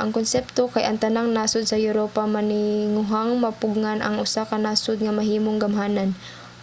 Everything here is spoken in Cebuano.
ang konsepto kay ang tanang nasod sa europa maninguhang mapugngan ang usa ka nasod nga mahimong gamhanan